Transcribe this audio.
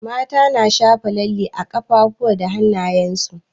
Mata na shafa lalle a kafafuwa da hanayen su.